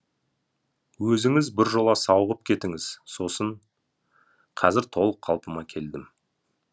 өзіңіз біржола сауығып кетіңіз сосын қазір толық қалпыма келдім